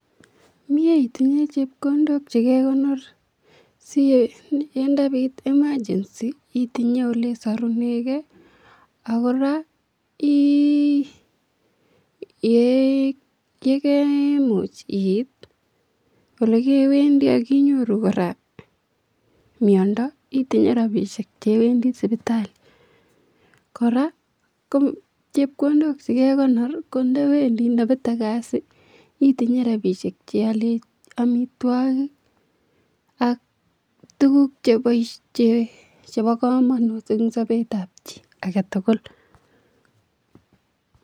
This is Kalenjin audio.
Miee itinye chepkondok chekekonor sii yee ndabit [<cs] emergency itinye olesorunekee ak kora yekemuch iit olekewendi ak inyoru kora miondo ak inyoru miondo itinye rabishek chewendi sipitali, kora ko chepkondok ko ndowendi ndobete kasii itinye rabishek cheolen amitwokik ak tukuk chebokomonut en sobetab chii aketukul.